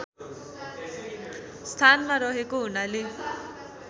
स्थानमा रहेको हुनाले